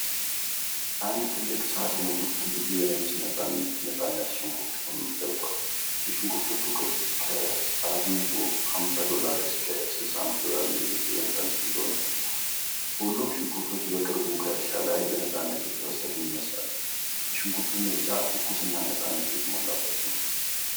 አንድ ትልቅ ሣጥን ውስጥ ብዙ የነጭ ነፃነት ሽንኩርት ክምር ተደርጓል:: የሽንኩርቶቹ ቅርጽ ከ $45$ እስከ $65$ ሚሊሜትር በነፃነት እንደሆነ ተጠቁሟል:: ሁሉም ሽንኩርቶች በቅርቡ ከእርሻ ላይ በነፃነት የተሰበሰቡ ይመስላሉ:: የሽንኩርቱ ምርጫ ትኩስና ነፃነት የተሞላበት ነው።